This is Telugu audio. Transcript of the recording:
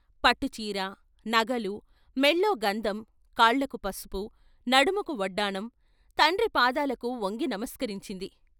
పట్టుచీర, నగలు, మెళ్ళో గంధం, కాళ్ళకు పసుపు, నడుముకు వడ్డాణం. తండ్రి పాదాలకు వంగి నమస్కరించింది.